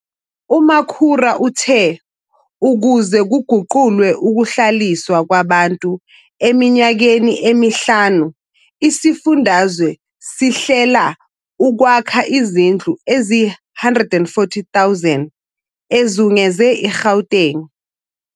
UMakhura uthe ukuze kuguqulwe ukuHlaliswa kwaBantu eminyakeni emihlanu isifundazwe sihlela ukwakha izindlu eziyi-140 000 ezungeze iGauteng.